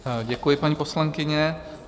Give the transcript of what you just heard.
Děkuji, paní poslankyně.